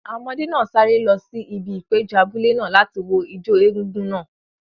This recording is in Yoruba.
Àwọn ọmọdé náà sáré lọ sí ibi ìpéjọ abúlé náà láti wo ijó egúngún náà.